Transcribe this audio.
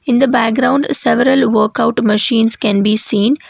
In the background several workout machines can be seen.